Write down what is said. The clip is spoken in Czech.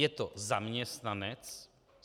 Je to zaměstnanec?